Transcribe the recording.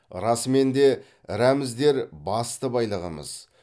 расымен де рәміздер басты байлығымыз